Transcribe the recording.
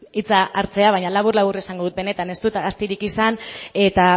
hitza hartzea baina labur labur esango dut benetan ez dut astirik izan eta